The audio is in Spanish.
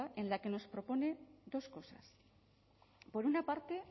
en la que nos propone dos cosas por una parte